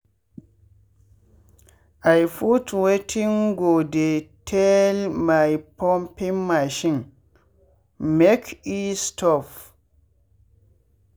i put wetin go dey tell my pumping machine make e stop $""